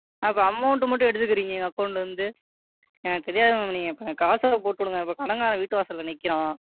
Ma'am அப்போ Amount மட்டும் எடுத்துக்குறீங்க Account ல இருந்து எனக்கு தெரியாது Ma'am நீங்க எனக்கு காசை போட்டு விடுங்க. இப்ப கடன்காரன் வீட்டு வாசல்ல நிக்கிறான்.